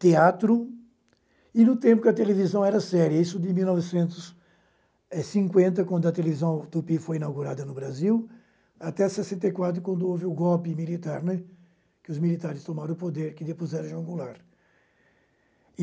teatro e no tempo em que a televisão era séria, isso de mil novecentos é cinquenta, quando a televisão Tupi foi inaugurada no Brasil, até sessenta e quatro, quando houve o golpe militar, né, em que os militares tomaram o poder, que depois era João Goulart.